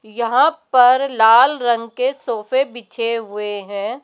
यहां पर लाल रंग के सोफे बिछे हुए हैं।